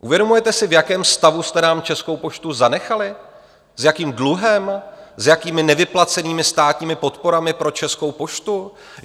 Uvědomujete si, v jakém stavu jste nám Českou poštu zanechali, s jakým dluhem, s jakými nevyplacenými státními podporami pro Českou poštu?